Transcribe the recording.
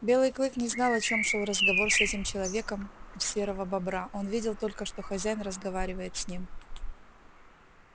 белый клык не знал о чем шёл разговор с этим человеком у серою бобра он видел только что хозяин разговаривает с ним